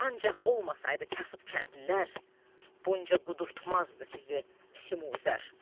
Ancaq olmasaydı kasıb kəndlilər, bunca qudurtmazdı sizi Simuzər.